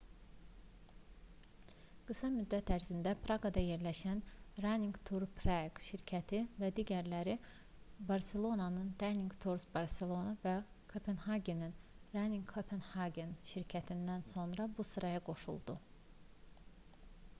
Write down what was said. qısa müddət ərzində praqada yerləşən running tours prague şirkəti və digərləri barselonanın running tours barcelona və kopenhagenin running copenhagen şirkətlərindən sonra bu sıraya qoşuldu